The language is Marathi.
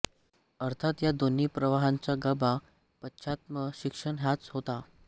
अर्थात या दोन्ही प्रवाहांचा गाभा पाश्चात्त्य शिक्षण हाच होता